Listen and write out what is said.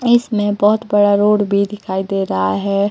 इसमें बहोत बड़ा रोड भी दिखाई दे रहा है।